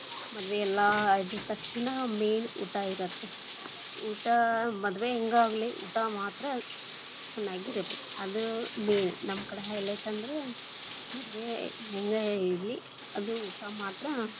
ಮದುವೆ ಎಲ್ಲಾ ಆದ ತಕ್ಷಣ main lang:Foreign ಊಟ ಇರತ್ತೆ, ಊಟ ಮದುವೆ ಹೆಂಗೆ ಆಗಲಿ ಊಟ ಮಾತ್ರ ಚನ್ನಾಗಿರಬೇಕು, ಅದ್ main lang:Foreign ನಮ್ ಕಡೆ highlight lang:Foreign ಅಂದ್ರೆ ಮದುವೆ ಹೆಂಗೆ ಇರ್ಲಿ ಅದು ಊಟ ಮಾತ್ರ.